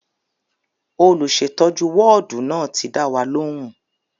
Olùsètọ́jú wọ́ọ̀dù náà ti dá wa lóhùn